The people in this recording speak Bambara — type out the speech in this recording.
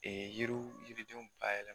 yiriw yiridenw bayɛ